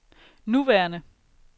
nuværende